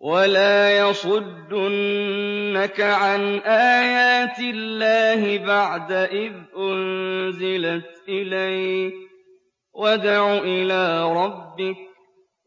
وَلَا يَصُدُّنَّكَ عَنْ آيَاتِ اللَّهِ بَعْدَ إِذْ أُنزِلَتْ إِلَيْكَ ۖ وَادْعُ إِلَىٰ رَبِّكَ ۖ